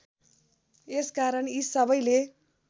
यसकारण यी सबैले